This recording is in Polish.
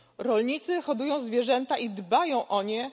Rolnicy hodują zwierzęta i dbają o nie.